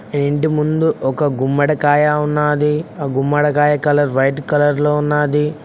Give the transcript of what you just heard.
ఈ ఇంటి ముందు ఒక గుమ్మడికాయ ఉన్నది ఆ గుమ్మడికాయ కలర్ వైట్ కలర్ లో ఉన్నది.